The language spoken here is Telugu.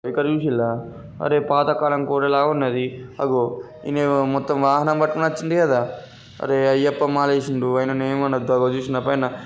ఇలా అరే పాతకాలం గోడల ఉన్నది .అగో ఇనే ఏమో మొత్తం వాహనం పటుకొని ఒచిండు కదా. అరే అయ్యప్ప మాల ఎసిండు అయిన ని ఎం అనొద్దు అగొ చూసినవా పైన--